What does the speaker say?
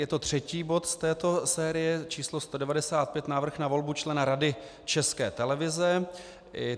Je to třetí bod z této série, číslo 195, návrh na volbu člena Rady České televize.